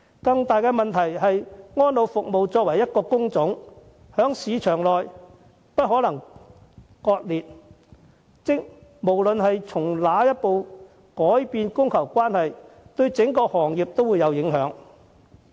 更大的問題是，安老服務這個行業包含不同工種，在市場內不可分割，無論哪個工種輸入外勞，供求關係都會有所改變，對整個行業也會產生影響。